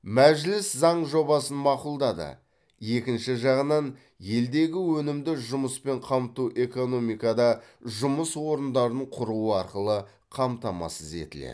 мәжіліс заң жобасын мақұлдады екінші жағынан елдегі өнімді жұмыспен қамту экономикада жұмыс орындарын құру арқылы қамтамасыз етіледі